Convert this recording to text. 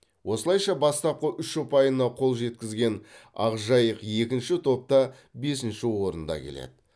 осылайша бастапқы үш ұпайына қол жеткізген ақжайық екінші топта бесінші орында келеді